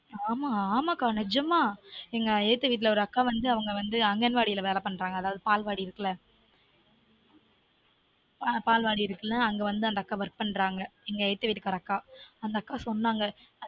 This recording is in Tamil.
ஆன் ஆமாஆமா கா நெஜமா எங்க எதுத்த வீட்ல ஒரு அக்கா வந்து அவங்க வந்து அங்கன்வாடி வேல பண்றாங்க அதாவது பால்வாடி இருக்குல அங்க வந்து work பண்றாங்க அந்த அக்கா சொன்னாங்க